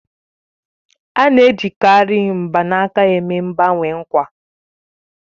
Á na-ejikarị mgbanaka eme mgbanwe nkwa